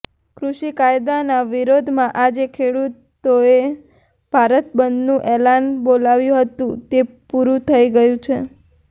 કૃષિ કાયદાના વિરોધમાં આજે ખેડૂતોએ ભારત બંધનું એલાન બોલાવ્યું હતું તે પૂરું થઇ ગયું છે